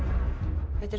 þetta er